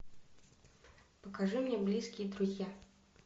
покажи мне близкие друзья